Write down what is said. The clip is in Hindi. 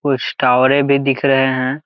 कुछ टॉवेरें भी दिख रहे है।